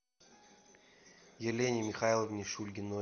елене михайловне шульгиной